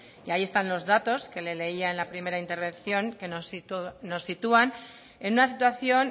y ahí están los datos que le leía en la primera intervención que nos sitúan en una situación